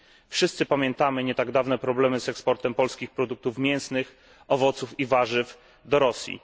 Wszyscy pamiętamy nie tak dawne problemy z eksportem polskich produktów mięsnych, owoców i warzyw do Rosji.